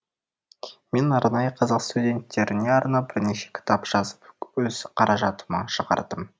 мен арнайы қазақ студенттеріне арнап бірнеше кітап жазып өз қаражатыма шығардым